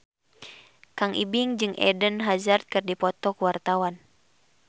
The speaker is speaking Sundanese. Kang Ibing jeung Eden Hazard keur dipoto ku wartawan